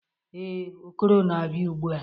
ee, Okoro na-abia ugbua